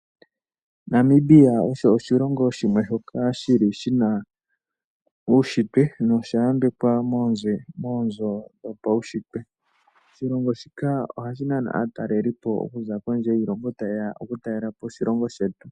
Namibia osho oshilongo shimwe shoka shili shina uushintwe nosha yambekwa moonzo dhopaushitwe. Oshilongo shika ohashi nana aatalelipo okuza kondje yiilongo tayeya oku talelapo oshilongo shetu.